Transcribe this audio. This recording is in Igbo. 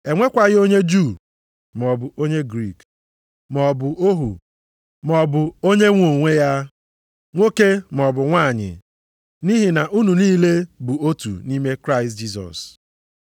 E nwekwaghị onye Juu, maọbụ onye Griik, maọbụ ohu maọbụ onye nwe onwe ya; nwoke maọbụ nwanyị, nʼihi na unu niile bụ otu nʼime Kraịst Jisọs.